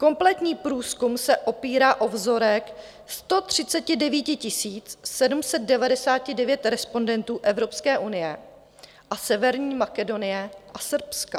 Kompletní průzkum se opírá o vzorek 139 799 respondentů Evropské unie a Severní Makedonie a Srbska.